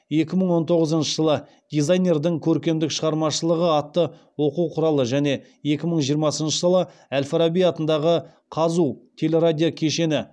екі мың он тоғызыншы жылы дизайнердің көркемдік шығармашылығы атты оқу құралы және екі мың жиырмасыншы жылы әл фараби атындағы қазұу телерадиокешені